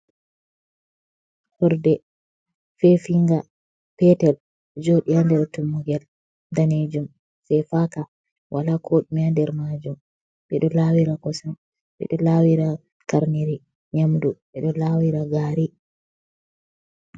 Horde feefinga peetel, ɗo jooɗi haa nder tummugel daneejum fefaaka, wala koɗume nder maajum. Ɓe ɗo laawira kosam, ɓe ɗo laawira karniri nyamdu, ɓe ɗo laawira gaari.